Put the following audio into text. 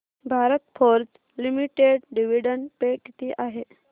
Bharat Forge limited dividend pay किती आहे